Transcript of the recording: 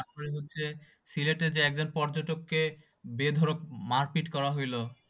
তারপরে হচ্ছে সিলেটের যে একজন পর্যটক কে বেধরক মারপীট করা হইল।